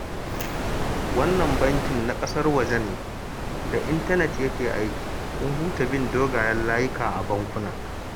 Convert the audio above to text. Wannan bankin na ƙasar waje ne, da intanet yake aiki, kun huta bin dogayen layuka a bankuna